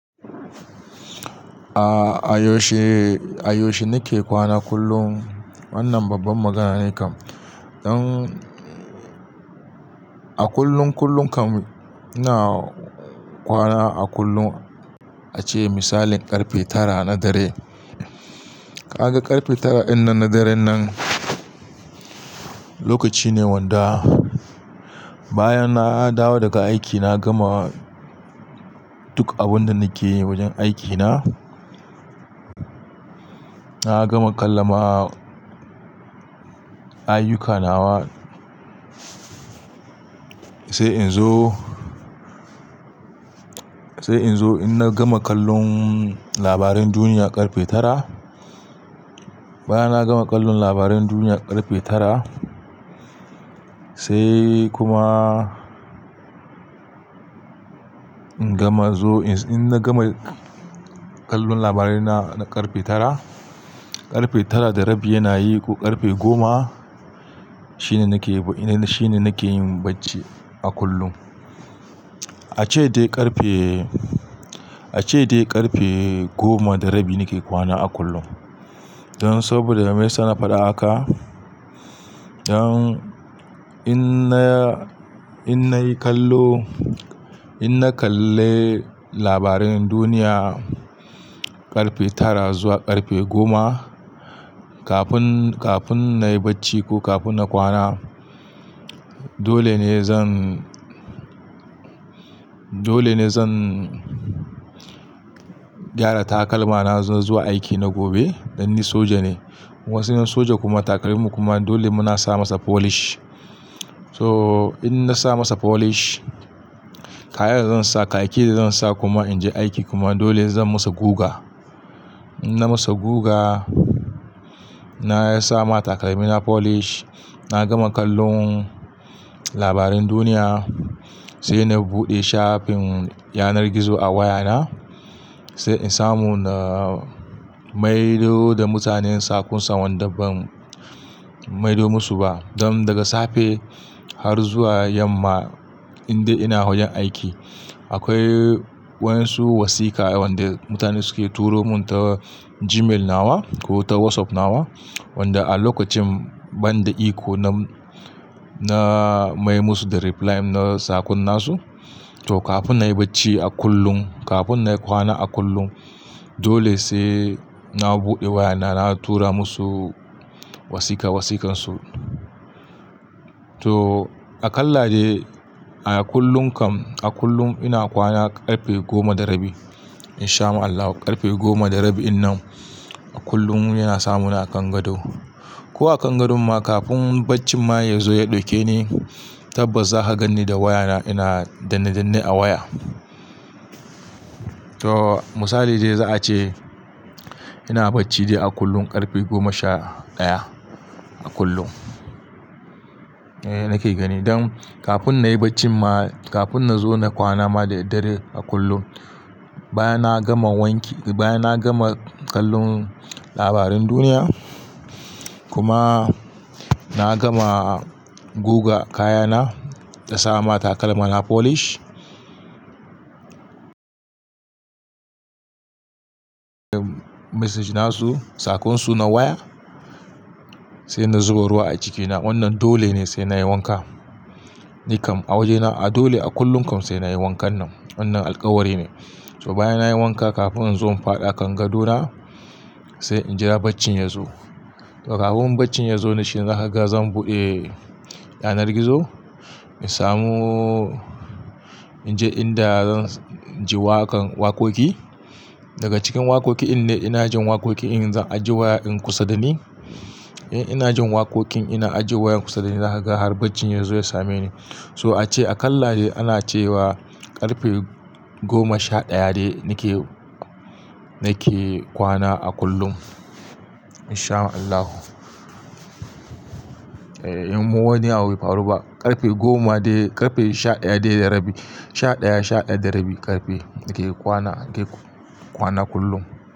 A, a yaushe, a yaushe nake kwana kullum? Wannan babban magana ne kam. Don a kullun kullum kam ina kwana a kullum ace misalin ƙarfe tara na dare. Ka ga ƙarfe tara ɗin nan na daren nan, lokaci ne wanda bayan na dawo daga aiki na gama duk abin da nake yi wajen aikina. Na gama kalla ma ayuka nawa sai in zo, sai in zo ina gama kallon labaran duniya ƙarfe tara. Bayan na gama kallon labaran duniya ƙarfe tara sai kuma in gama zo in, in na gama kallon labarai na ƙarfe tara, ƙarfe tara da rabi yana yi ko ƙarfe goma shine nake, shine nake yin bacci a kullum. Ace dai ƙarfe, ace dai ƙarfe goma da rabi nake kwana a kullum. Don saboda meyasa na faɗa haka? Don in na, in na yi kallo, in na kalle labaran duniya ƙarfe tara zuwa ƙarfe goma kafin, kafin na yi bacci ko kafin na kwana dole ne zan, dole ne zan gyara takalma na zuwa aiki na gobe. Dan ni soja ne. Wasu yan soja kuma takalman kuma dole muna sa masa polish. So in na sa masa polish kayan zan sa, kayayyaki da zan sa kuma in je aiki kuma dole zan musu guga. In na musu guga, na yi sa ma takalmi na polish, na gama kallon labaran duniya sai na buɗe shafin yanar gizo a waya na sai in samu na maido da mutanen sakusan wanda ban maido musu ba. Don daga safe har zuwa yamma in dai ina wajen aiki akwai wasu wasika wanda mutane suke turo mun ta Gmail nawa ko ta WhatsApp nawa wanda a lokacin banda iko na, na mai musu da reply na sakun nasu. To kafin na yi bacci a kullum, kafin na yi kwana a kullum dole sai na buɗe waya na, na tura musu wasika wasikansu. To a kalla dai a kullun kam a kullum ina kwana ƙarfe goma da rabi inshaama Allahu. Ƙarfe goma da rabi din nan a kullum yana samu na a kan gado. Ko a kan gadon ma kafin baccin ma ya zo ya ɗauke ni tabbas za ka ganni da waya na ina danne danne a waya. To misali dai za a ce ina bacci dai a kullum ƙarfe goma sha ɗaya a kullum. Ehh nake gani. Don kafin na yi bacci ma, kafin na zo na kwana ma da daddare a kullum bayan na gama wanki, bayan na gama kallon labaran duniya kuma na gama guga kayana da sa ma takalma na polish, message nasu sakonsu na waya sai na zuba ruwa a cikina wannan dole ne sai na yi wanka. Ni kam a wajena dole a kullum kam sai na yi wankan nan. Wannan alkawari ne. So bayan na yi wanka kafin in zo in faɗa kan gado na sai in jira bacci ya zo. To kafin bacci ya zo na shi za ka ga zan buɗe yanar gizo in samu, in je in da zan ji waƙan waƙoƙi. Daga cikin waƙoƙi in dai in ina jin waƙoƙin in zan ajiye wayan kusa da ni. In ina jin waƙoƙin ina ajiye wayan kusa da ni za ka ga har bacci ya zo ya same ni. So a ce a kalla dai ana ce wa ƙarfe goma sha ɗaya dai nake, nake kwana a kullum inshaama Allahu. Ehh in wani abu bai faru ba ƙarfe goma dai ƙarfe sha ɗaya dai da rabi, sha ɗaya sha ɗaya da rabi ƙarfe nake kwana, nake kwana kullum.